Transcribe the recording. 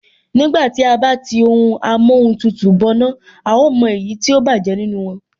Nígbà tí à bá tí ohun amóhun tutù bọná, a ó mọ èyí tó bájẹ̀ nínú wọn